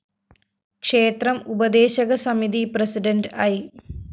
ക്ഷേത്രം ഉപദേശക സമിതി പ്രസിഡന്റ് ഐ